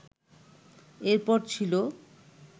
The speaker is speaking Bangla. এর পর ছিল